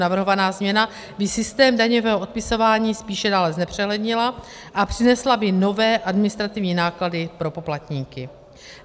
Navrhovaná změna by systém daňového odpisování spíše dále znepřehlednila a přinesla by nové administrativní náklady pro poplatníky.